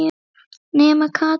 Nema Katrín.